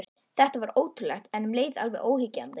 Þetta var ótrúlegt, en um leið alveg óyggjandi.